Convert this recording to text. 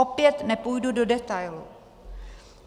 Opět nepůjdu do detailů.